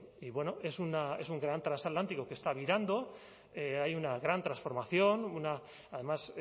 y bueno es un gran trasatlántico que está virando hay una gran transformación además